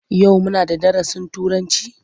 Yau muna da darasin Turanci?